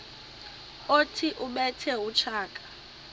othi ubethe utshaka